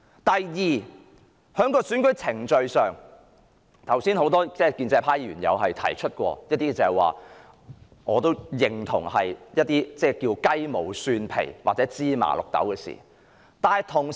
第二，有關選舉程序方面，很多建制派議員剛才也有提到一些我亦認同是雞毛蒜皮或芝麻綠豆的事。